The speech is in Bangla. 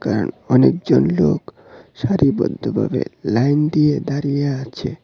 এ্যা অনেকজন লোক সারিবদ্ধভাবে লাইন দিয়ে দাঁড়িয়ে আছে।